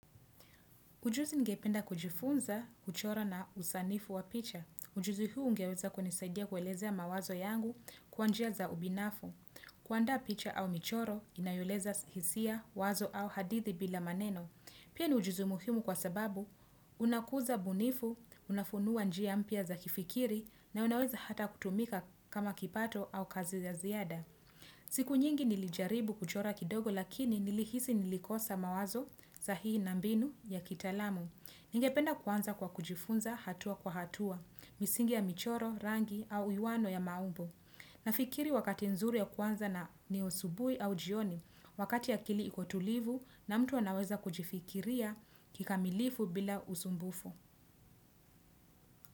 Ujuzi ngependa kujifunza uchoro na usanifu wa picha. Ujuzi huu ungeweza kunisaidia kuelezea mawazo yangu kwa njia za ubinafu. Kuanda picha au michoro inayoeleza hisia, wazo au hadithi bila maneno. Pia ni ujuzi muhimu kwa sababu unakuza bunifu, unafunua njia mpya za kifikiri na unaweza hata kutumika kama kipato au kazi za ziada. Siku nyingi nilijaribu kuchora kidogo lakini nilihisi nilikosa mawazo sahihi na mbinu ya kitalamu Ninge penda kwanza kwa kujifunza hatua kwa hatua, misingi ya michoro, rangi au iwano ya maumbo Nafikiri wakati nzuri ya kwanza ni usubui au jioni, wakati ya akili ikotulivu na mtu wanaweza kujifikiria kikamilifu bila usumbufu.